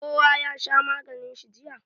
Kowa ya sha maganin shi jiya